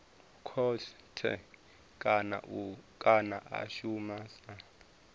khothe kana a shuma sa